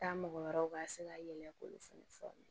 Taa mɔgɔ wɛrɛw ka se ka yɛlɛ k'olu fana fɔ